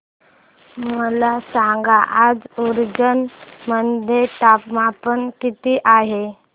मला सांगा आज उज्जैन मध्ये तापमान किती आहे